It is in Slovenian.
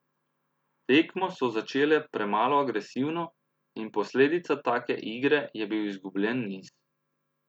Tekmo so začele premalo agresivno in posledica take igre je bil izgubljen niz.